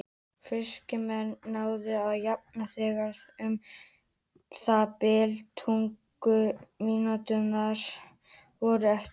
Fylkismenn náðu að jafna þegar um það bil tuttugu mínútur voru eftir.